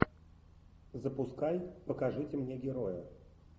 запускай покажите мне героя